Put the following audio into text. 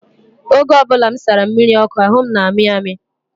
Oge ọ bụla m sara mmiri ọkụ, ahụ m na-amị amị.